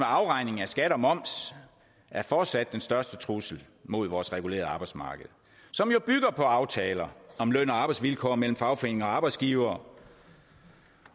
afregning af skat og moms er fortsat den største trussel mod vores regulerede arbejdsmarked som jo bygger på aftaler om løn og arbejdsvilkår mellem fagforeninger og arbejdsgivere